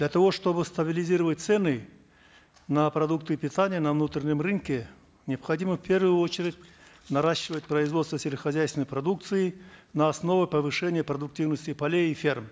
для того чтобы стабилизировать цены на продукты питания на внутреннем рынке необходимо в первую очередь наращивать производство сельскохозяйственной продукции на основе повышения продуктивности полей и ферм